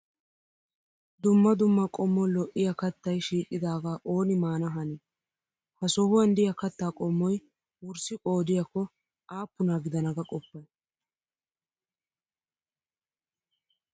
Dumma dumma qommo lo'iyaa kattayi shiiqadaaga ooni mana hanii? Ha sohuwaan diyaa kattaa qommoyi wurssi qoodiyaakko aappuna gidana ga qoppayi?